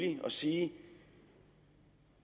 at sige